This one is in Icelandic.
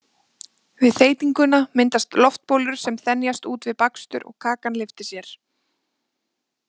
Við þeytinguna myndast loftbólur sem þenjast út við bakstur og kakan lyftir sér.